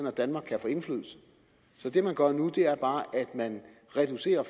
at danmark kan få indflydelse så det man gør nu er bare at man reducerer